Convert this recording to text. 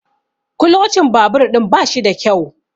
kulocin babur ɗin ba shi da kyau